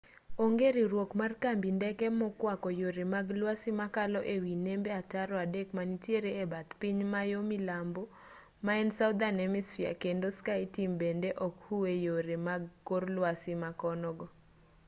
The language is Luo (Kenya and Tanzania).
onge riwruok mar kambi ndeke mokwako yore mag lwasi makalo e wi nembe ataro adek manitiere e bath piny ma yo milambo ma en southern hemisphere kendo skyteam bende ok huu e yore mag kor lwasi ma kono go